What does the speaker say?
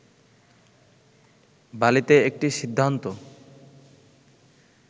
বালিতে একটি সিদ্ধান্ত